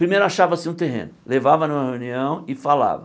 Primeiro achava-se um terreno, levava numa reunião e falava.